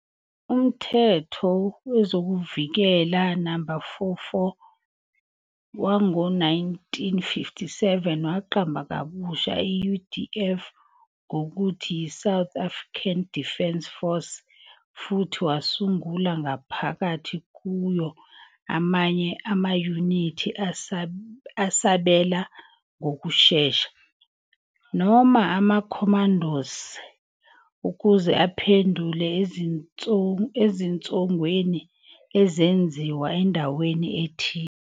UMthetho Wezokuvikela, No. 44, wango-1957 waqamba kabusha i-UDF ngokuthi yiSouth African Defence Force, SADF, futhi wasungula ngaphakathi kuyo amanye amayunithi asabela ngokushesha, noma amaCommandos, ukuze aphendule ezinsongweni ezenziwa endaweni ethile.